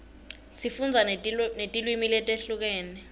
sifundza netilwimi letehlukene